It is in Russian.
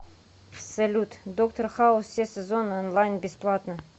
салют доктор хаус все сезоны онлайн бесплатно